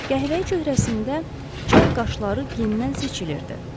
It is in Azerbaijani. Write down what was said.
Qəhvəyi cöhrəsində çal qaşları gendən seçilirdi.